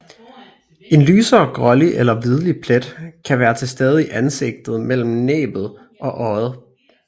En lysere grålig eller hvidlig plet kan være til stede i ansigtet mellem næbbet og øjet